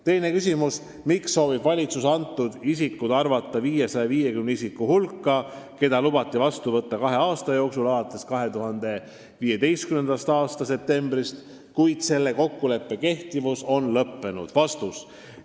Teine küsimus: "Miks soovib valitsus antud isikud arvata 550 isiku hulka, keda lubati vastu võtta kahe aasta jooksul alates 2015. aasta septembrist, kui selle kokkuleppe kehtivus on lõppenud?